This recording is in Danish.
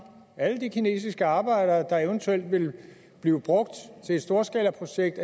alle de kinesiske arbejdere der eventuelt vil blive brugt til et storskalaprojekt